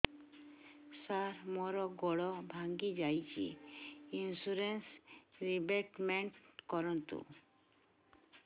ସାର ମୋର ଗୋଡ ଭାଙ୍ଗି ଯାଇଛି ଇନ୍ସୁରେନ୍ସ ରିବେଟମେଣ୍ଟ କରୁନ୍ତୁ